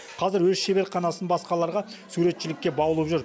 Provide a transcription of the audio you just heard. қазір өз шеберханасын басқаларға суретшілікке баулып жүр